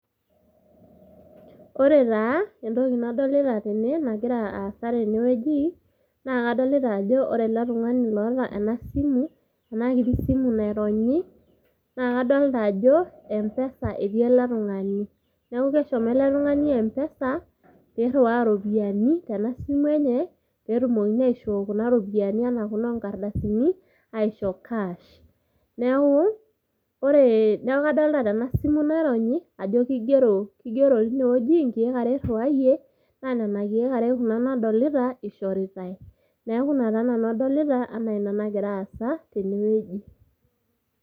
Ore taa entoki nadolita tene nagira aasa tenewueji, naa kadolta ajo ore eletung'ani loota enasimu, enakiti Simu naironyi naa kadolta ajo mpesa etii eletung'ani ,neaku keshomo oltung'ani mpesa airiwaa ropiyani tenasimu enye petumoki airiu kuna ropiyani onkardasini aisho cash neaku ore, neaku kadolta tenasimu naironyi ajo kigero inewueji inkeek are eiriwayie, na nona kiek are nona nadolita ishoritae, neaku ina nanu adolta anaa nagira aasa tenewueji.